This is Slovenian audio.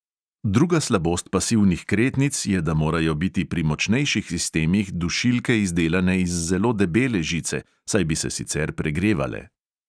Druga slabost pasivnih kretnic je, da morajo biti pri močnejših sistemih dušilke izdelane iz zelo debele žice, saj bi se sicer pregrevale.